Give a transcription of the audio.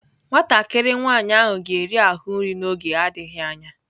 Nwatakịrị nwanyị ahụ ga-eri ahụ nri n'oge adịghị anya..